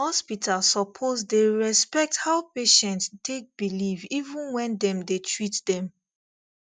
hospital suppose dey respect how patient take believe even when dem dey treat dem